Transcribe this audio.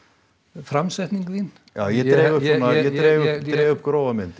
framsetning þín ég dreg upp grófa mynd